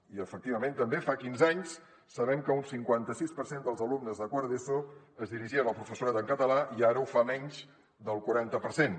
i efectivament també fa quinze anys sabem que un cinquanta sis per cent dels alumnes de quart d’eso es dirigien al professorat en català i ara ho fa menys del quaranta per cent